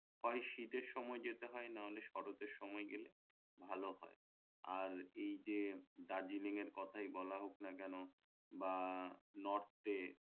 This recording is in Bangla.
হয় শীতের সময় যেতে হয় নাহলে শরতের সময় গেলে ভাল হয় আর এই যে দার্জিলিংয়ের কথাই বলা হোক না কেন বা নর্থ এ